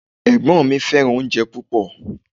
Ẹ̀gbọ́n mi Fẹ́ràn oúnjẹ púpọ̀